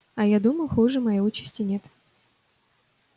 а я думал хуже моей участи нет